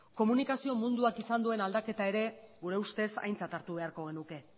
komunikazio munduak izan duen aldaketa ere gure ustez aintzat hartu beharko genuke